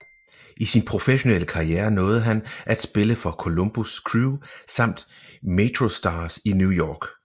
I sin professionelle karriere nåede han at spille for Columbus Crew samt MetroStars i New York